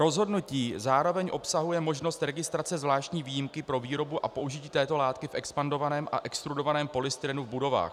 Rozhodnutí zároveň obsahuje možnost registrace zvláštní výjimky pro výrobu a použití této látky v expandovaném a extrudovaném polystyrenu v budovách.